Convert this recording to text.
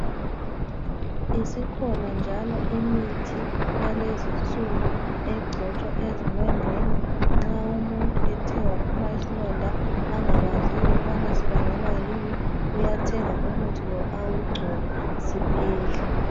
Isikhona njalo imithi yalezinsuku egcotshwa ezilondeni nxa umuntu ethe waphuma isilonda angakwaziyo ukubana sibangelwa yini uyathenga umuthi lo awugcobe siphele.